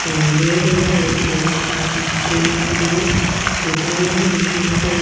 यह रोड है रोड के कम्म ठीक बगल में दुकान हैं दुकान को --